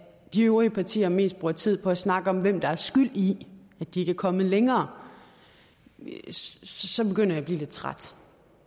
de øvrige partier mest bruger tid på at snakke om hvem der er skyld i at de ikke er kommet længere ja så begynder jeg at blive lidt træt